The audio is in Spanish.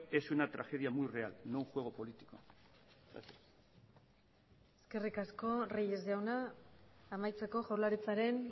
es una tragedia muy real no un juego político gracias eskerrik asko reyes jauna amaitzeko jaurlaritzaren